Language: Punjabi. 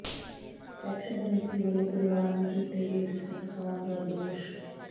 ਐਕਸ਼ਨ ਕਮੇਟੀ ਵੱਲੋਂ ਪਰਿਵਾਰ ਨੂੰ ਝੂਠੇ ਕੇਸ ਵਿੱਚ ਫਸਾਉਣ ਦਾ ਦੋਸ਼